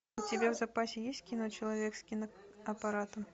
у тебя в запасе есть кино человек с киноаппаратом